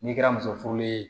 N'i kɛra muso furulen ye